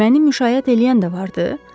Məni müşayiət eləyən də vardı?